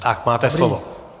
Tak máte slovo.